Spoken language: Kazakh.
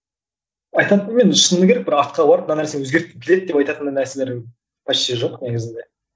айтатыным енді шыны керек бір артқа барып мына нәрсені өзгерткім келеді деп айтатындай нәрселер почти жоқ негізінде